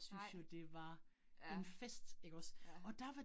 Nej. Ja. Ja